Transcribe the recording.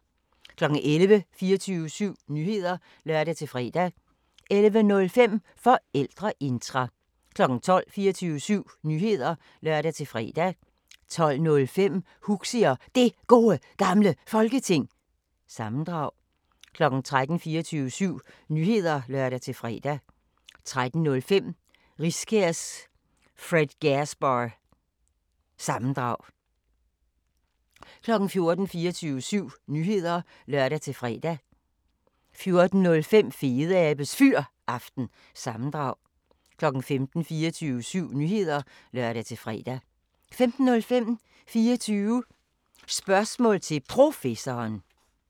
11:00: 24syv Nyheder (lør-fre) 11:05: Forældreintra 12:00: 24syv Nyheder (lør-fre) 12:05: Huxi og Det Gode Gamle Folketing – sammendrag 13:00: 24syv Nyheder (lør-fre) 13:05: Riskærs Fredgasbar- sammendrag 14:00: 24syv Nyheder (lør-fre) 14:05: Fedeabes Fyraften – sammendrag 15:00: 24syv Nyheder (lør-fre) 15:05: 24 Spørgsmål til Professoren